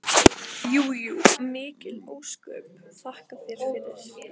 Jú jú, mikil ósköp, þakka þér fyrir.